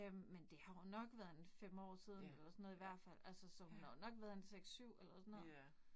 Øh, men det har jo nok været en 5 år siden eller sådan noget i hvert fald altså, så hun har jo nok været en 6-7